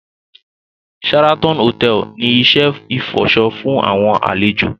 Sheraton Hotel ni iṣẹ ifọṣọ fun awọn alejo